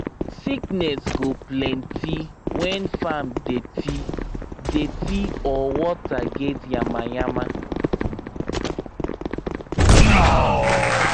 sickness go plenty when farm dirty dirty or water get yamayama